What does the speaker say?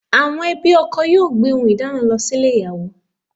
Àwọn ẹbí ọkọ yóò gbé ohùn ìdána lọ sílè ìyàwó